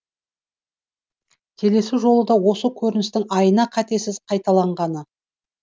келесі жолы да осы көріністің айна қатесіз қайталанғаны